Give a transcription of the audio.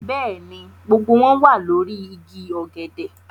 Bẹ́ẹ̀ ni, gbogbo wọn wà lórí igi ọ̀gẹ̀dẹ̀